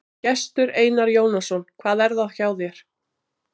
Gestur Einar Jónasson: Hvað er það hjá þér?